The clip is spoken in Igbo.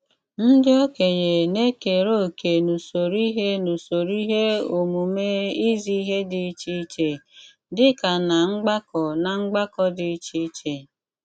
Ndí ókényé ná-ékeré òké n’úsóró íhé n’úsóró íhé ómùmé ízí íhé dí iché iché, dí kà ná mgbàkọ́ ná mgbàkọ́ dí iché iché.